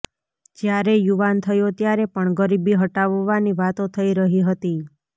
જ્યારે યુવાન થયો ત્યારે પણ ગરીબી હટાવવાની વાતો થઈ રહી હતી